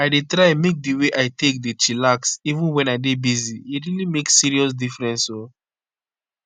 i dey try make di way i take dey chillax even wen i dey busy. e really make serious difference o.